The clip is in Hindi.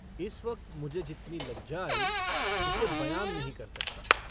इस वक्त मुझे जितनी लज्जा आई उसे बयान नहीं कर सकता।